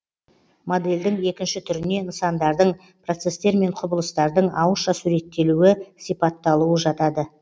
модельдің екінші түріне нысандардың процестер мен құбылыстардың ауызша суреттелуі сипатталуы жатады